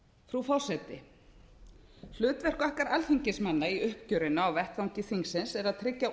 frú forseti hlutverk okkar alþingismanna í uppgjörinu á vettvangi þingsins er að tryggja